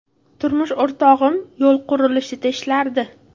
Turmush o‘rtog‘im yo‘l qurilishida ishlardi.